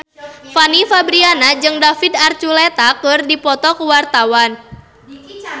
Fanny Fabriana jeung David Archuletta keur dipoto ku wartawan